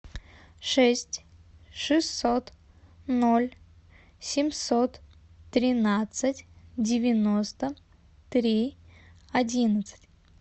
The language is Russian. шесть шестьсот ноль семьсот тринадцать девяносто три одиннадцать